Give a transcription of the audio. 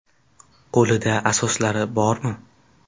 Qo‘lida asoslari bormi?